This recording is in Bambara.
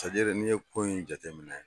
Sariya n'i ye ko in jateminɛ